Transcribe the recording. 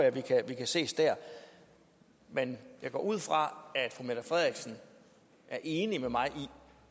vi kan ses der men jeg går ud fra at fru mette frederiksen er enig med mig i